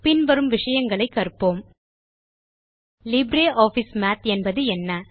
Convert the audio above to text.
பின் வரும் விஷயங்களை கற்போம் லிப்ரியாஃபிஸ் மாத் என்பது என்ன